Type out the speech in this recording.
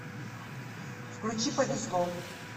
включи повезло